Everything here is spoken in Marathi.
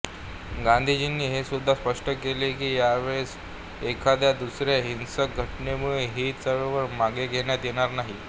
गांधीजींनी हेसुद्धा स्पष्ट केले की यावेळेस एखाददुसऱ्या हिंसक घटनेमुळे ही चळवळ मागे घेण्यात येणार नाही